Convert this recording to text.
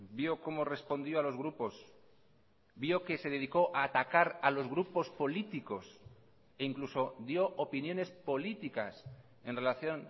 vio como respondió a los grupos vio qué se dedicó a atacar a los grupos políticos e incluso dio opiniones políticas en relación